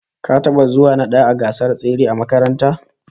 Ka taba zuwa na daya a gasar tsere a makaranta?